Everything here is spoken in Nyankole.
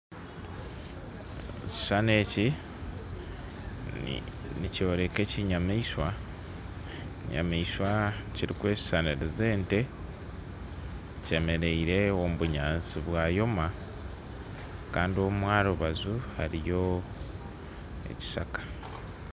Ekishushani eki nikyoreka ekinyamaishwa, ekinyamaishwa kirikweshushaniriza ente, kyemeriire omu bunyansi bwayoma kandi omu rubaju hariyo ekishaka.